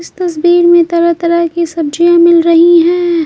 इस तस्वीर में तरह-तरह की सब्जियां मिल रही है।